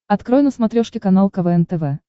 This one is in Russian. открой на смотрешке канал квн тв